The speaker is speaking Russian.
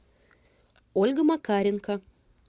ольга макаренко